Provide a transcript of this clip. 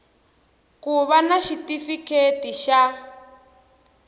ku va na xitifiketi xa